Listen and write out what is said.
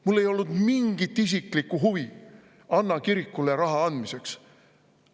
Mul ei olnud mingit isiklikku huvi Anna kirikule raha andmiseks.